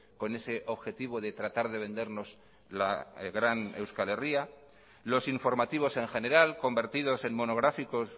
con ese objetivo de tratar de vendernos la gran euskal herria los informativos en general convertidos en monográficos